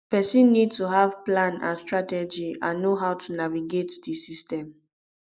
pesin need to have plan and strategy and know how to navigate di system